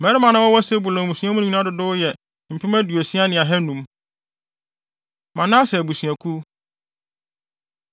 Mmarima a na wɔwɔ Sebulon mmusua no mu no nyinaa dodow yɛ mpem aduosia ne ahannum (60,500). Manase Abusuakuw